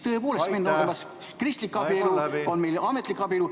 Tõepoolest, on kristlik abielu, on ametlik abielu.